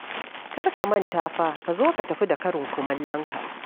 Kar ka manta fa ka zo ka tafi da karin kumallonka.